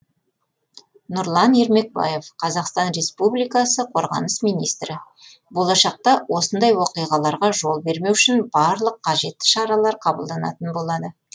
нұрлан ермекбаев қазақстан республикасы қорғаныс министрі болашақта осындай оқиғаларға жол бермеу үшін барлық қажетті шаралар қабылданатын болады